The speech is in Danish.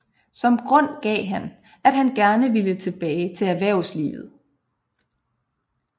Som grund gav han at han gerne ville tilbage til erhvervslivet